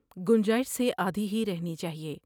گنجائش سے آدھی ہی رہنی چاہئے ۔